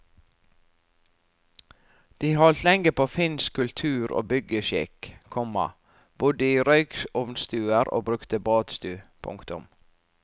De holdt lenge på finsk kultur og byggeskikk, komma bodde i røykovnstuer og brukte badstu. punktum